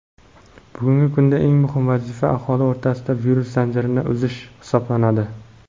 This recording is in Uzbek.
bugungi kunda eng muhim vazifa aholi o‘rtasida virus zanjirini uzish hisoblanadi.